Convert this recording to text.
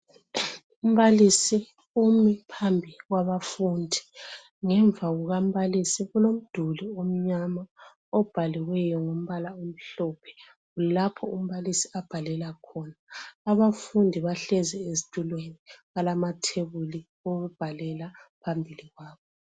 Umbaliso umi phambi kwabafundi ngemva kukambalisi kulomduli omnyama obhaliweyo ngombala omhlophe lapho umbalisi abhalela khona. Abafundi bahlezi ezitulweni balamathebuli okubhalela phambili kwabo.